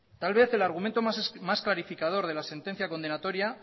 tal vez el argumento más clarificador de la sentencia condenatoria